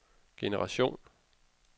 generation